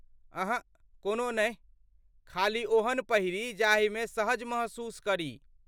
अहँ , कोनो नहि ,खाली ओहन पहिरी जाहिमे सहज महसूस करी।